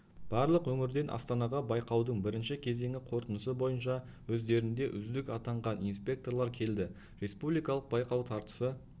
барлық өңірден астанаға байқаудың бірінші кезеңі қорытындысы бойынша өздерінде үздік атанған инспекторлар келді республикалық байқау тартысы